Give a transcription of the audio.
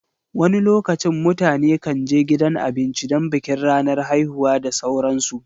wani lokacin mutane kan je gidan abinci don bikin ranar haihuwa da sauransu